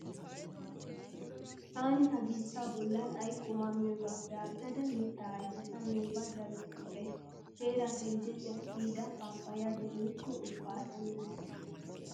Taani ha biittaa bollan ay qumaa miyogaappe aattada mittaa ayfeta miyoga daruwa siiqays. Teeraa teljjejjaa kiyida paappayiya demmikko ubba asa mizikke.